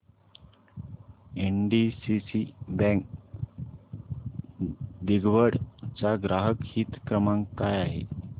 NDCC bank दिघवड चा ग्राहक हित क्रमांक काय आहे